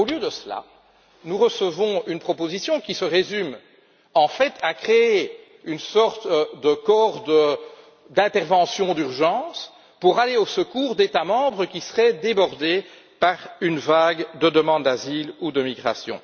Au lieu de cela, nous recevons une proposition qui se résume en fait à créer une sorte de corps d'intervention d'urgence pour aller au secours des États membres débordés par une vague de demandes d'asile ou de migration.